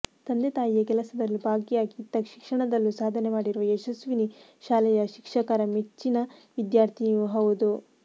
ತಂದೆ ತಾಯಿಯ ಕೆಲಸದಲ್ಲೂ ಭಾಗಿಯಾಗಿ ಇತ್ತ ಶಿಕ್ಷಣದಲ್ಲೂ ಸಾಧನೆ ಮಾಡಿರುವ ಯಶಸ್ವಿನಿ ಶಾಲೆಯ ಶಿಕ್ಷಕರ ಮೆಚ್ಚಿನ ವಿದ್ಯಾರ್ಥಿನಿಯೂ ಹೌದು